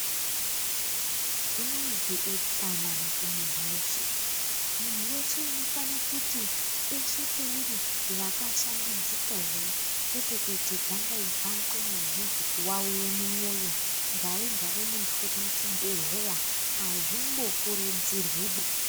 Zvinozi utsanana kumunhu weshe. Munhu weshe unofane kuti peshe peuri wakashambidzika here, kwete kuite gangaidzwa mukweni wemhezi kuwawire mumwoyo, gare gare muntu uri muchibhedhleya. Hazvimbokurudzirwiba!